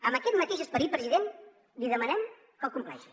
amb aquest mateix esperit president li demanem que el compleixi